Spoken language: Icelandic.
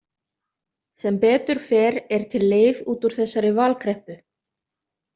Sem betur fer er til leið út úr þessari valkreppu.